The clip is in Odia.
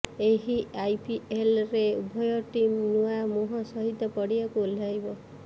ଏହି ଆଇପିଏଲରେ ଉଭୟ ଟିମ୍ ନୂଆ ମୁହଁ ସହିତ ପଡ଼ିଆକୁ ଓହ୍ଲାଇବ